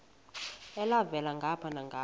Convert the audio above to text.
elhavela ngapha nangapha